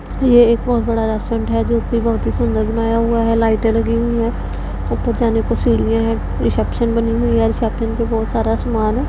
ये एक बहुत बड़ा रेस्टोरेंट है जो कि बहुत ही सुंदर बनाया हुआ है लाइटें लगी हुई हैं ऊपर जाने को सीढ़ियां हैं रिसेप्शन बनी हुई है रिसेप्शन पे बहुत सारा सामान है।